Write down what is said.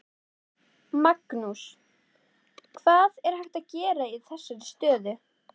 Magnús: Hvað er hægt að gera í þessari stöðu?